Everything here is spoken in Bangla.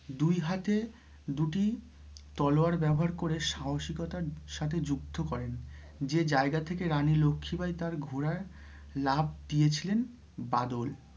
দুই হাতে দুটি তলোয়ার ব্যবহার করে সাহসিকতার সাথে যুদ্ধ করেন, যে জায়গা থেকে রানী লক্ষি বাই তাঁর ঘোড়ায় লাফ দিয়েছিলেন বাদল